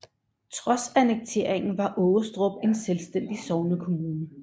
Trods annekteringen var Aarestrup en selvstændig sognekommune